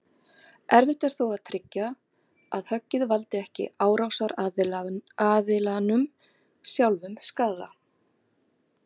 Erfitt er þó að tryggja að höggið valdi ekki árásaraðilanum sjálfum skaða.